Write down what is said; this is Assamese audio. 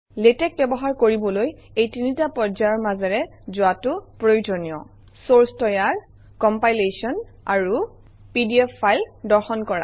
লেটেক্স ব্যৱহাৰ কৰিবলৈ এই তিনিটা পৰ্যায়ৰ মাজেৰে যোৱাটো প্ৰয়োজনীয় চৰ্চ তৈয়াৰ কমপিলেশ্যন আৰু পিডিএফ ফাইল দৰ্শন কৰা